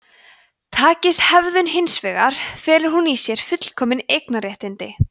takist hefðun hins vegar felur hún í sér fullkomin eignarréttindi